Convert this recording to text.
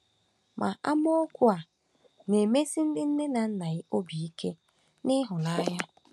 Ma amaokwu a na-emesi ndị nne na nna obi ike na ịhụnanya.